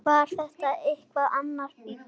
Var þetta einhver annar bíll?